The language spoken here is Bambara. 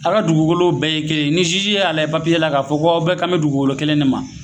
A' ka dugukolow bɛɛ ye kelen ni y'a lajɛ la k'a fɔ ko aw bɛɛ kan bɛ dugukolo kelen ne ma